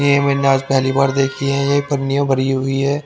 ये मैंने आज पहली बार देखी है ये पन्नियां भरी हुई है।